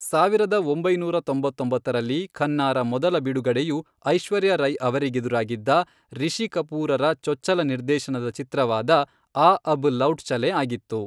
ಸಾವಿರದ ಒಂಬೈನೂರ ತೊಂಬತ್ತೊಂಬತ್ತರಲ್ಲಿ, ಖನ್ನಾರ ಮೊದಲ ಬಿಡುಗಡೆಯು ಐಶ್ವರ್ಯಾ ರೈ ಅವರಿಗೆದುರಾಗಿದ್ದ, ರಿಷಿ ಕಪೂರರ ಚೊಚ್ಚಲ ನಿರ್ದೇಶನದ ಚಿತ್ರವಾದ ಆ ಅಬ್ ಲೌಟ್ ಚಲೇನ್ ಆಗಿತ್ತು.